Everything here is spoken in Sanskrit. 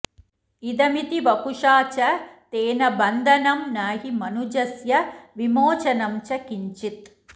इदमिति वपुषा च तेन बन्धनं न हि मनुजस्य विमोचनं च किञ्चित्